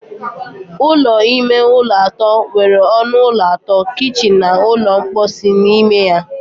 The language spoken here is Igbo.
Ụlọ ime ụlọ atọ nwere ọnụ ụlọ atọ, kichin na ụlọ mposi n'ime ya.